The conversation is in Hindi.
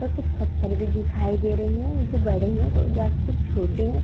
और कुछ पत्थर भी दिखाई दे रहे है जो बड़े है या कुछ छोटे है।